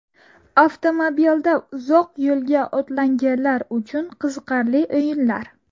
Avtomobilda uzoq yo‘lga otlanganlar uchun qiziqarli o‘yinlar.